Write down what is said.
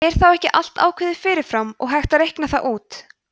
er þá ekki allt ákveðið fyrir fram og hægt að reikna það út